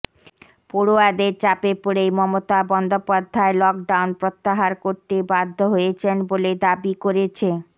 পড়ুয়াদের চাপে পড়েই মমতা বন্দ্যোপাধ্যায় লকডাউন প্রত্যাহার করতে বাধ্য হয়েছেন বলে দাবি করেছে